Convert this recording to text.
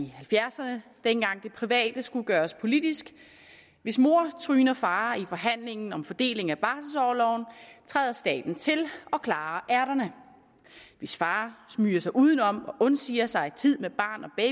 halvfjerdserne dengang det private skulle gøres politisk hvis mor tryner far i forhandlingen om fordeling af barselsorloven træder staten til og klarer ærterne hvis far smyger sig udenom og undsiger sig tid med barn og